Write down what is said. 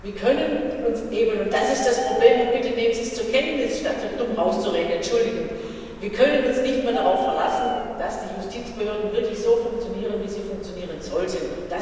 Wir können uns eben und das ist das Problem, und nehmen Sie es bitte zur Kenntnis, statt so dumm rauszureden, Entschuldigung nicht mehr darauf verlassen, dass die Justizbehörden wirklich so funktionieren, wie sie funktionieren sollten.